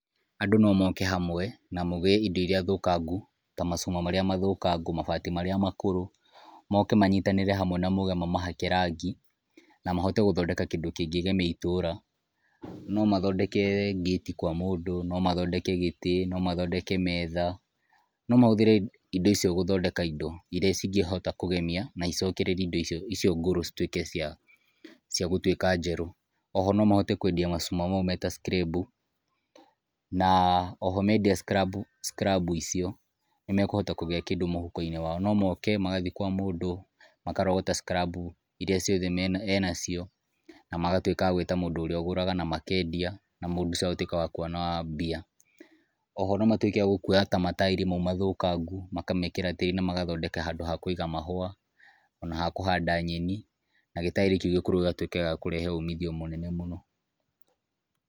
Andũ no moke hamwe na mũgĩe indo iria thũkangũ, ta macuma marĩa mathũkangu, mabati marĩa makũrũ. Moke manyitanĩre hamwe na moige mamahake rangi na mahote gũthondeka kindũ kĩngĩgemia itũra. No mathondeke gate kwa mũndũ, no mathondeke gĩtĩ, no mathondeke metha, no mahũthĩre indo icio gũthondeka indo iria cingĩhota kũgemia na icokereria indo icio ngũrũ citũĩke cia gũtũĩka njerũ. Oho no mahote kũendia macũma maũ me ta cikirembũ na oho mendia cikirambu, cikirambu icio nĩmekuhota kũgĩa kĩndũ mũhũko-inĩ wa o, no moke magathiĩ kwa mũndũ akarogota cikirambu iria ciothe enacio na magatũika agũita mũndũ ũrĩa ũgũraga na makendia na mũndũ ũcio agatũĩka wa kũona mbia. Oho no matũĩke akũoya ta mataĩri maũ mathũkangũ makamekĩra tĩrĩ na magathondeka handũ ha kũiga mahũa o na ha kũhanda nyeni, na gĩtaĩri kĩũ gĩkũrũ gĩgatũĩka gĩa kũrehe ũmithio mũnene mũno.